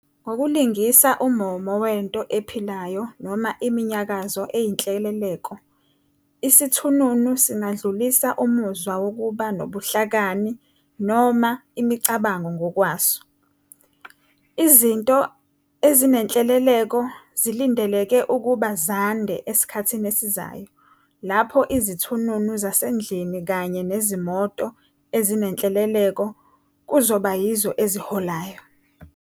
Ngokulingisa ummomo wento ephilayo noma iminyakazo eyinhleleleko, isithununu singadlulisa umuzwa wokuba nobuhlakani noma imicabango ngokwaso. Izinto ezinenhleleleko zilindeleke ukuba zande esikhathini esizayo, lapho izithununu zasendlini kanye nezimoto ezinehleleleko kuzoba yizo eziholayo.